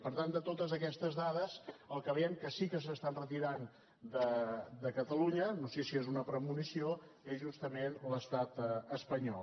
per tant de totes aquestes dades el que veiem que sí que s’està enretirant de catalunya no sé si és una premonició és justament l’estat espanyol